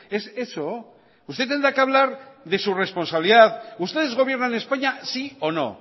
es eso usted tendrá que hablar de su responsabilidad ustedes gobiernan españa sí o no